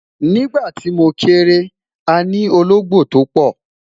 nígbà ti mo kere, àní ológbò to pò